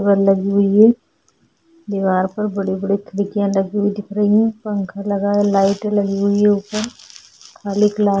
दीवार पे लगी हुई है दीवार पर बड़ी-बड़ी खिड़कियाँ लगी हुई दिख रही हैं पंखा लगा लाइटें लगी हुई हैं ऊपर खाली क्लास --